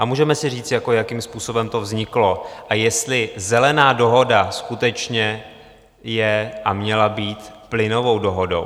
A můžeme si říct, jakým způsobem to vzniklo a jestli Zelená dohoda skutečně je a měla být plynovou dohodou.